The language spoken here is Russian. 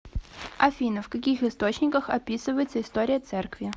афина в каких источниках описывается история церкви